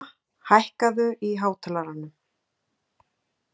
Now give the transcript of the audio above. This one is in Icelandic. Góa, hækkaðu í hátalaranum.